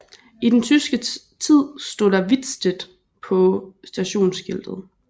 I den tyske tid stod der Wittstedt på stationsskiltet